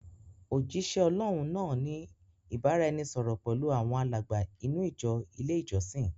Òjisẹ Ọlọ́hun náà ni ìbáraẹnisọọ̀rọ̀ pẹlu awọn alàgbà inú ìjọ ilé ìjọsìn.